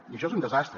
i això és un desastre